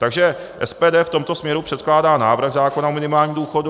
Takže SPD v tomto směru předkládá návrh zákona o minimálním důchodu.